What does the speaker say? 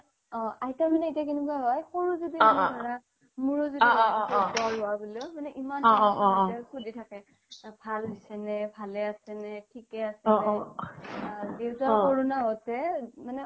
আইতা মানে কি হয় সৰু ভাল হৈছেনে থিকে আছেনে দেউতা corona হওতে